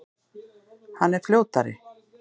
Hann er fljótari.